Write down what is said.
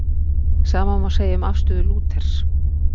Sama má segja um afstöðu Lúthers.